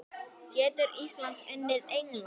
Getur Ísland unnið England?